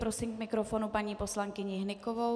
Prosím k mikrofonu paní poslankyni Hnykovou.